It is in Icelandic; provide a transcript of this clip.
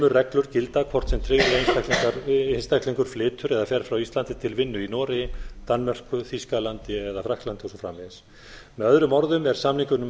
reglur gilda hvort sem tryggður einstaklingur flytur eða fer rá íslandi til vinnu í noregi danmörku þýskalandi frakklandi og svo framvegis með öðrum orðum er samningnum